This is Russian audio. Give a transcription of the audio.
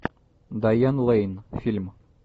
дайан лейн фильм